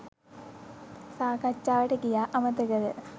සාකච්චාවට ගියා අමතකද?